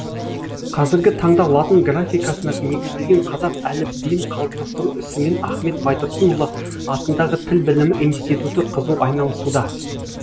қазіргі таңда латын графикасына негізделген қазақ әліпбиін қалыптастыру ісімен ахмет байтұрсынұлы атындағы тіл білімі институты қызу айналысуда